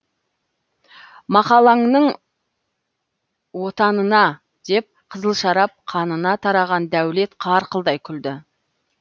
мақалаңның отанына деп қызыл шарап қанына тараған дәулет қарқылдай күлді